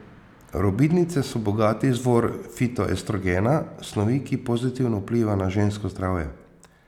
Robidnice so bogati izvor fitoestrogena, snovi, ki pozitivno vpliva na žensko zdravje.